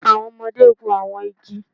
Awọn ọmọde gun awọn igi